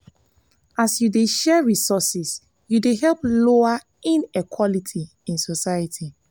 as yu dey share resources yu dey help lower inequality in society.